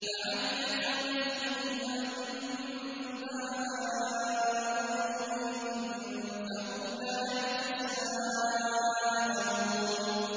فَعَمِيَتْ عَلَيْهِمُ الْأَنبَاءُ يَوْمَئِذٍ فَهُمْ لَا يَتَسَاءَلُونَ